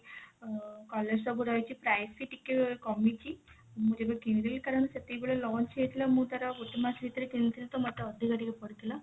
ଅ colours ତ ପୁରା ଅଛି price ବି ଟିକେ କମିଛି ମୁଁ ଯେବେ କିଣିଥିଲି କାରଣ ସେତିକି ବେଳେ lunch ହେଇଥିଲା ମୁଁ ତାର ଗୋଟେ ମାସ ଭିତରେ କିଣିଥିଲି ତ ମୋତେ ଅଧିକା ଟିକେ ପଡିଥିଲା